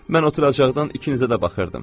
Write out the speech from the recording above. Mən oturaçaqdan ikinizə də baxırdım.